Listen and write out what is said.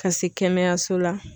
Ka se kɛnɛyaso la.